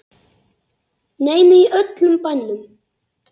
Nei, nei, í öllum bænum.